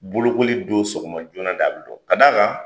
Bolokoli don sɔgɔma joona de a be dɔn ka d'a kan